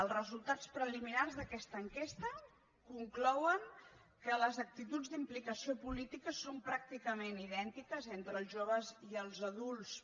els resultats preliminars d’aquesta enquesta conclouen que les actituds d’implicació política són pràcticament idèntiques entre els joves i els adults